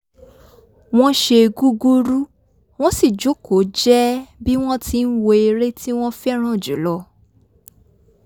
wọ́n ṣe gúgúrú wọ́n sì jókòó jẹ́ẹ́ bí wọ́n tí ń wo eré tí wọ́n fẹ́ràn jù lọ